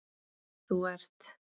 Þú ert